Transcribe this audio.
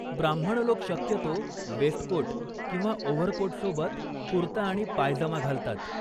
ब्राम्हण लोक शक्यतो वेस्टकोट किंवा ओव्हरकोटसोबत कुर्ता आणि पायजमा घालतात.